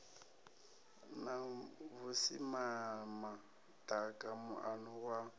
na vhusimama ḓaka muano wa